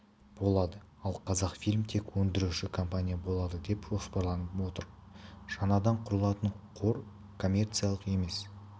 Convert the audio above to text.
болады ал қазақфильм тек өндіруші компания болады деп жоспарланып отыр жаңадан құрылатын қор коммерциялық емес